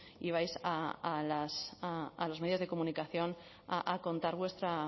ibais a los medios de comunicación a contar vuestra